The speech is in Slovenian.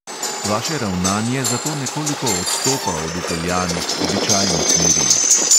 Vaše ravnanje zato nekoliko odstopa od vpeljanih običajnih meril.